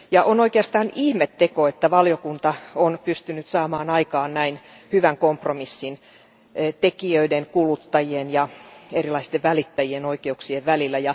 On oikeastaan ihmeteko, että valiokunta on pystynyt saamaan aikaan näin hyvän kompromissin tekijöiden, kuluttajien ja erilaisten välittäjien oikeuksien välillä.